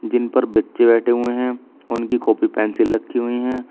जिन पर बच्चे बैठे हुए हैं उनकी कॉपी पेंसिल रखी हुई है।